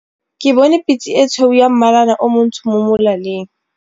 Ke bone pitse e tshweu ya mmalana o montsho mo molaleng.